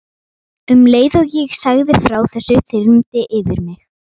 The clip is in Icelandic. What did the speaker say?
Um leið og ég sagði frá þessu þyrmdi yfir mig.